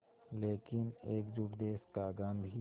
लेकिन एकजुट देश का गांधी